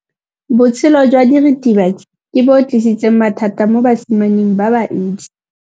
Botshelo jwa diritibatsi ke bo tlisitse mathata mo basimaneng ba bantsi.